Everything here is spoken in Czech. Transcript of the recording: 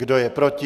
Kdo je proti?